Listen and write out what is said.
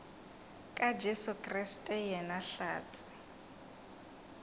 ka jesu kriste yena hlatse